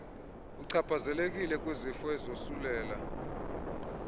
uchaphazelekile kwizifo ezosulela